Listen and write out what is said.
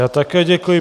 Já také děkuji.